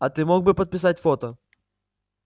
а ты мог бы подписать фото